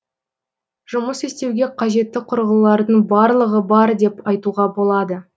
жұмыс істеуге қажетті құрылғылардың барлығы бар деп айтуға болады